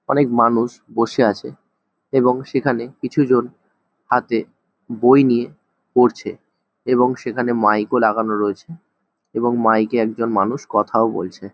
অনেক মানুষ বসে আছে এবং সেখানে কিছুজন হাতে বই নিয়ে পড়ছে এবং সেখানে মাইক ও লাগানো রয়েছে এবং মাইকে একজন মানুষ কথা ও বলছে।